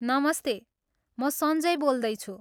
नमस्ते, म सन्जय बोल्दैछु।